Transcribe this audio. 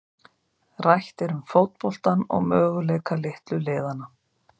Rætt er um fótboltann og möguleika litlu liðanna.